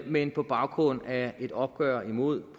men på baggrund af et opgør imod